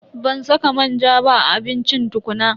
Ban saka manja ba a abincin tukuna.